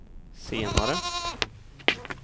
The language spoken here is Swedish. senare